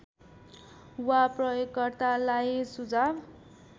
वा प्रयोगकर्तालाई सुझाव